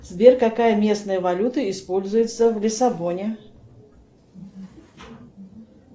сбер какая местная валюта используется в лиссабоне